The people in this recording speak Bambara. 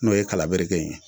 N'o ye kala bereke in ye.